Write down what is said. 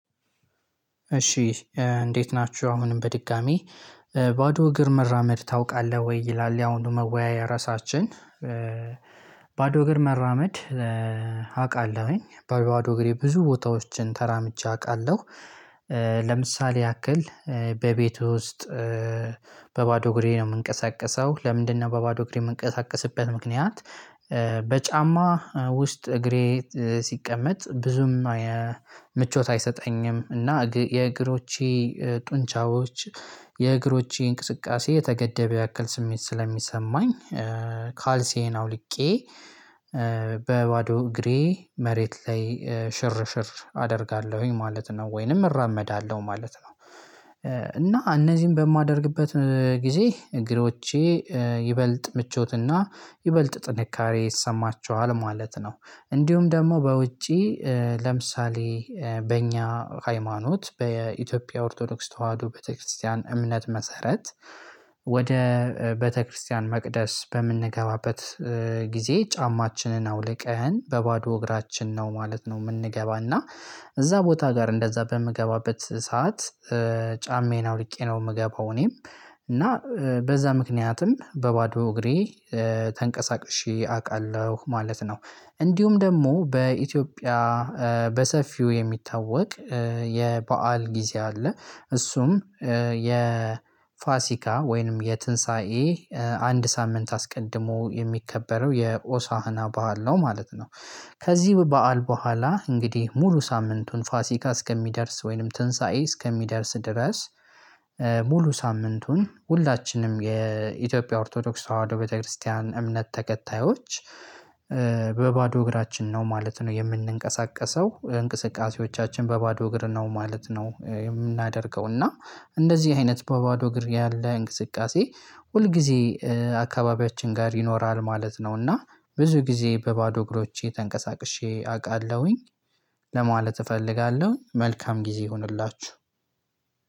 እሺ እንዴት ናችሁ አሁንም በድጋሜ ባዶ እግር መራመድ ታውቃለህ ወይ ይላል የአሁኑ መወያያ ርዕሳችን? ባዶ እግር መራመድ አቃለሁኝ በባዶ እግሬ ብዙ ቦታዎችን ተራምጄ አቃለሁ። ለምሳሌ ያክል በቤቱ ውስጥ። በባዶ እግሬ ነው የምንቀሳቀሰው ለምንድነው በባዶ እግሬ የምንቀሳቀስበት ምክንያት? በጫማ ውስጥ እግሬ ሲቀመጥ ብዙም ምቾት አይሰጠኝም። እና የእግሮቼ ጡንቻዎች የእግሮቼ እንቅስቃሴ የተገደበ ያክል ስሜት ስለሚሰማኝ። ካልሲዬን አውልቄ በባዶ እግሬ መሬት ላይ ሽርሽር አደርጋለሁኝ ማለት ነው ወይንም እራመዳለሁ ማለት ነው። እና እነዚህን በማደርግበት ጊዜ እግሮቼ ይበልጥ ምቾትና ይበልጥ ጥንካሬ ይሰማቸዋል ማለት ነው። እንዲሁም ደግሞ በውጪ ለምሳሌ በእኛ ሃይማኖት በኢትዮጵያ ኦርቶዶክስ ተዋህዶ ቤተክርስቲያን እምነት መሰረት። ወደ ቤተክርስቲያን መቅደስ በምንገባበት ጊዜ ጫማችንን አውልቀን በባዶ እግራችን ነው ማለት ነው። የምንገባና እዛ ቦታ ጋር እንደዛ በምገባበት ሰዓት። ጫማዬን አውልቄ ነው የምገባው እኔም እና በዛ ምክንያትም በባዶ እግሬ ተንቀሳቅሼ አቃለሁ ማለት ነው። እንዲሁም ደግሞ በኢትዮጵያ በሰፊው የሚታወቅ የበአል ጊዜ አለ እሱም የፋሲካ ወይንም የትንሳኤ አንድ ሳምንት አስቀድሞ የሚከበረው የኦሳህና በዓል ነው ማለት ነው። ከዚህ በዓል በኋላ እንግዲህ ሙሉ ሳምንቱን ፋሲካ እስከሚደርስ ወይንም ትንሳኤ እስከሚደርስ ድረስ። ሙሉ ሳምንቱን ሁላችንም የኢትዮጵያ ኦርቶዶክስ ተዋህዶ ቤተክርስቲያን እምነት ተከታዮች። በባዶ እግራችን ነው ማለት ነው የምንንቀሳቀሰው እንቅስቃሴዎቻችን በባዶ እግር ነው ማለት ነው የምናደርገው እና እንደዚህ አይነት በባዶ እግር ያለ እንቅስቃሴ ሁል ጊዜ አካባቢያችን ጋር ይኖራል ማለት ነው። እና ብዙ ጊዜ በባዶ እግሮቼ ተንቀሳቅሼ አቃለሁኝ ለማለት እፈልጋለሁ። መልካም ጊዜ ይሁንላችሁ